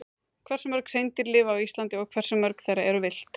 Hversu mörg hreindýr lifa á Íslandi og hversu mörg þeirra eru villt?